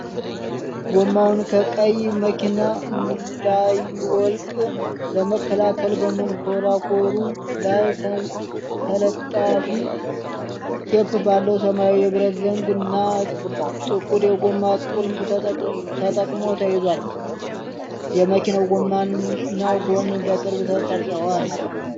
ጎማውን ከቀይ መኪና እንዳይወልቅ ለመከላከል በመንኮራኩሩ ላይ ተለጣፊ ቴፕ ባለው ሰማያዊ የብረት ዘንግ እና ጥቁር የጎማ ቁልፍ ተጠቅሞ ተይዟል። የመኪናው ጎማና ጎን በቅርብ ተቀርጸዋል።